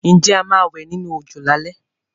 Ǹjẹ́ a máa wẹ̀ nínú òjò lálé?